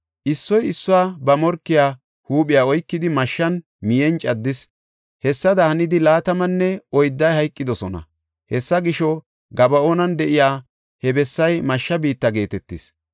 Issoy issoy ba morkiya huuphiya oykidi, mashshan miyen caddis; hessada hannidi laatamanne oydday hayqidosona. Hessa gisho Gaba7oonan de7iya he bessay Mashsha biitta geetetis.